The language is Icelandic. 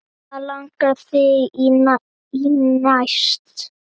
Hvað langar þig í næst?